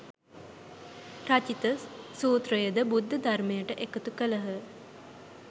රචිත සූත්‍රයද බුද්ධ ධර්මයට එකතු කළහ